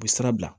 U bɛ sira bila